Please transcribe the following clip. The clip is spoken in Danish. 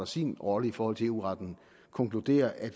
sin rolle i forhold til eu retten konkluderer at